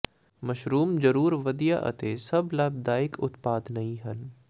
mushrooms ਜ਼ਰੂਰ ਵਧੀਆ ਅਤੇ ਸਭ ਲਾਭਦਾਇਕ ਉਤਪਾਦ ਨਹੀ ਹਨ